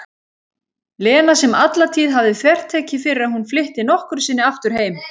Lena sem alla tíð hafði þvertekið fyrir að hún flytti nokkru sinni aftur heim.